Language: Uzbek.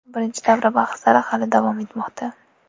Birinchi davra bahslari hali davom etmoqda.